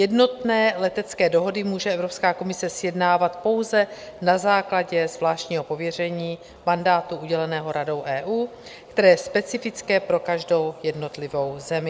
Jednotné letecké dohody může Evropská komise sjednávat pouze na základě zvláštního pověření mandátu uděleného Radou EU, které je specifické pro každou jednotlivou zemi.